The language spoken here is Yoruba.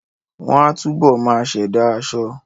Wọ́n á túbọ̀ máa ṣẹ̀dá aṣọ